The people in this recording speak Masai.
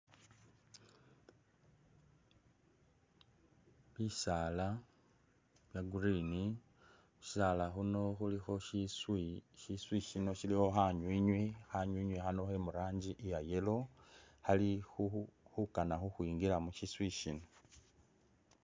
Bisaala bya green, khushisaala khuno khuli shiswi, shiswi ishino shilikho khanywinywi, khanywinywi akhano khemujranji iya yellow, khali khukana khukhwingila mushiswi ishino.